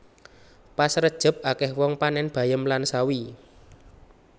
Pas rejeb akeh wong panen bayem lan sawi